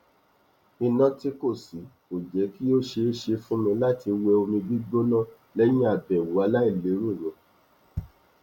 iná tí kò sí kò jẹ kí ó ṣeé ṣe fún mi láti wẹ omi gbígbóná lẹyìn àbẹwò àìlérò yẹn